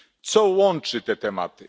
Co łączy te tematy?